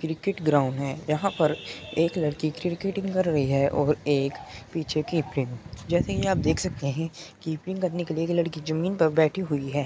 Cricket ground है। यहां पर एक लड़की क्रिकेटिंग कर रही है और एक पीछे कीपिंग । जैसे कि आप देख सकते हैं कीपिंग करने के लिए लड़की जमीन पर बैठी हुई है।